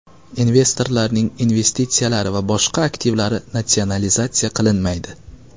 Investorlarning investitsiyalari va boshqa aktivlari natsionalizatsiya qilinmaydi.